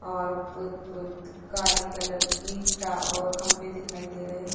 और काली कलर की खंबे दिखाई दे रहै हैं।